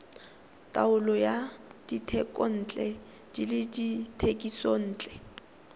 taolo ya dithekontle le dithekisontle